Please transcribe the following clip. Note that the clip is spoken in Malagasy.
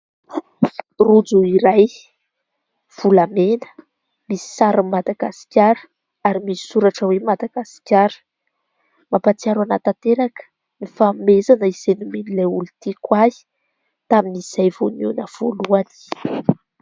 Rojo iray volamena misy sarin'ny Madagasikara ary misy soratra hoe Madagasikara ; mampahatsiaro ahy tanteraka ny fanomezana izay nomen'ilay olon-tiko ahy tamin'izay vao nihaona voalohany.